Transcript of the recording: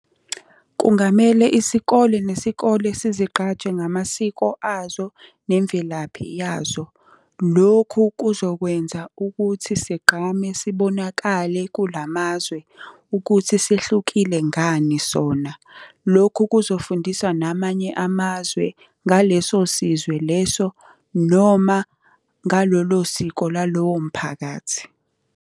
Kungamele isikole nesikole sizigqaje ngamasiko azo nemvelaphi yazo. Lokhu kuzokwenza ukuthi sigqame, sibonakale kula mazwe ukuthi sehlukile ngani sona. Lokhu kuzofundisa namanye amazwe ngaleso sizwe leso noma ngalolo siko lalowo mphakathi.